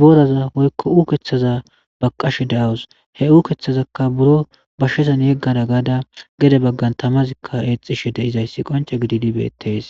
boraza woykko ukeththaza ba qashe de7awus he u keththazakka buro bashshezan yeggada gaada gede baggan tamazikka eexishe de7izayssi qonce gididibeettees